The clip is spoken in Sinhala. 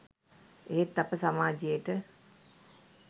එහෙත් අප සමාජයට